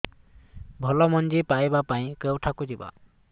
ଭଲ ମଞ୍ଜି ପାଇବା ପାଇଁ କେଉଁଠାକୁ ଯିବା